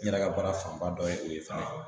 N yɛrɛ ka baara fanba dɔ ye o ye fana.